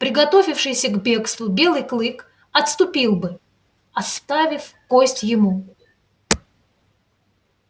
приготовившийся к бегству белый клык отступил бы оставив кость ему